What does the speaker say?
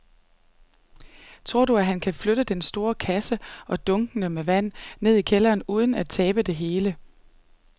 Tror du, at han kan flytte den store kasse og dunkene med vand ned i kælderen uden at tabe det hele?